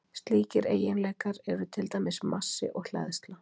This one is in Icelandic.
Slíkir eiginleikar eru til dæmis massi og hleðsla.